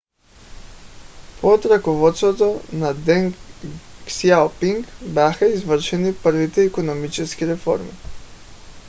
под ръководството на deng xiaoping бяха извършени първите икономически реформи